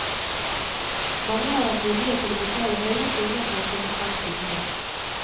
Mange har vært villige til å betale høye summer for å komme fremst i køen.